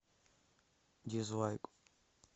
дизлайк